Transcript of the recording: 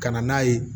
Ka na n'a ye